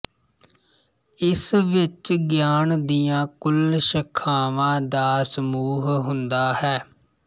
ਇਸ ਵਿੱਚ ਗਿਆਨ ਦੀਆਂ ਕੁੱਲ ਸ਼ਾਖਾਵਾਂ ਦਾ ਸਮੂਹ ਹੁੰਦਾ ਹੈ